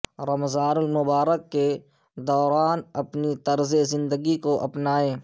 رمضان المبارک کے دوران اپنی طرز زندگی کو اپنائیں